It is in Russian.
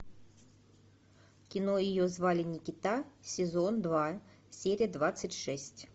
кино ее звали никита сезон два серия двадцать шесть